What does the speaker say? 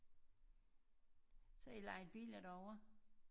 Så har i lejet biler derover?